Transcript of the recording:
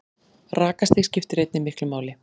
Rakastig skiptir einnig miklu máli.